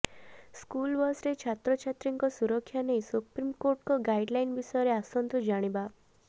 school ବସ୍ରେ ଛାତ୍ରଛାତ୍ରୀଙ୍କ ସୁରକ୍ଷା ନେଇ ସୁପ୍ରିମକୋର୍ଟଙ୍କ ଗାଇଡଲାଇନ ବିଷୟରେ ଆସନ୍ତୁ ଜାଣିବା